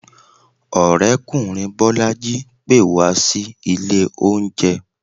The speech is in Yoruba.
orekunrin bolají pè wa sí ìlè oúnje.